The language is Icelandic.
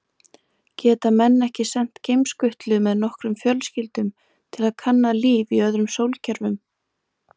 Geta menn ekki sent geimskutlu með nokkrum fjölskyldum til að kanna líf í öðrum sólkerfum?